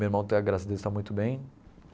Meu irmão até, graças a Deus, está muito bem.